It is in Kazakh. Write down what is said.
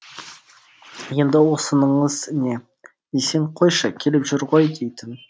енді осыныңыз не десең қойшы келіп жүр ғой дейтін